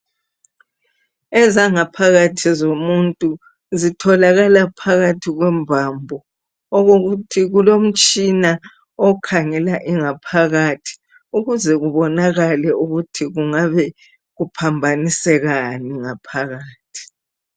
Ezangaphakathi zomuntu zitholakala phakathi kwembambo okokuthi kulomtshina okhangela ingaphakathi ukuze kubonakale ukuthi kungabe kuphambanisekani ngaphakathi.